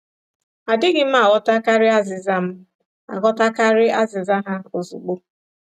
Adịghị m aghọtakarị azịza m aghọtakarị azịza ha ozugbo.